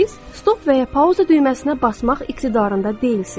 Siz stop və ya pauza düyməsinə basmaq iqtidarında deyilsiz.